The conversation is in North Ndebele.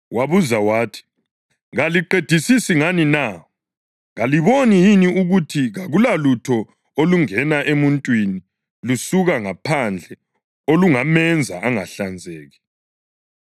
Wabuza wathi, “Kaliqedisisi ngani na? Kalikuboni yini ukuthi kakulalutho olungena emuntwini lusuka ngaphandle olungamenza ‘angahlanzeki’?